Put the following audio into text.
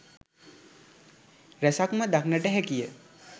රැසක්ම දක්නට හැකිය.